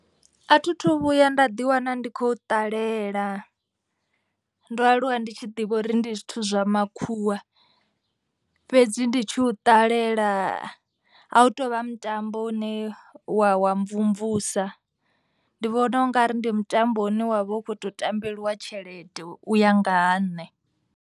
A thi thu vhuya nda ḓiwana ndi khou ṱalela. Ndo aluwa ndi tshi ḓivha uri ndi zwithu zwa makhuwa fhedzi ndi tshi u ṱalela a hu tovha mutambo u ne wa wa mvumvusa. Ndi vhona ungari ndi mutambo une wavha u kho to tambeliwa tshelede u ya nga ha nṋe.